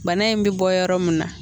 Bana in mɛ bɔ yɔrɔ min na.